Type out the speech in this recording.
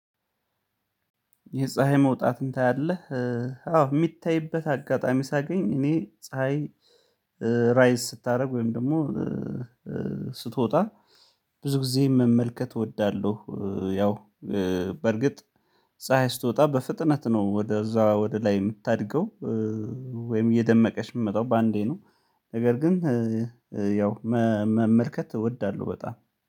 የፀሀይ መውጣት እንታያለን አዎ የሚታይበት አጋጣሚ ሳገኝ እኔ ፀሀይ ራይዝ ስታደርግ ወይም ደግሞ ስትወጣ ብዙ ጊዜ መመልከት እወዳለሁ። ያው በርግጥ ፀሀይ ስትወጣ በፍጥነት ነው ወደ እዛ ወደ ላይ የምታድገው። ወይም እየደመቀች የምመጣው በአንዴ ነው ነገር ግን ያው መመልከት እወዳለሁ በጣም